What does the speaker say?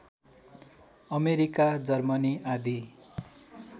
America Germany आदि